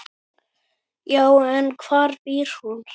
Já, en hvar býr hún?